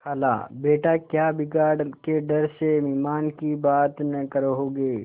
खालाबेटा क्या बिगाड़ के डर से ईमान की बात न कहोगे